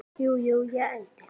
Jú, jú, ég ældi.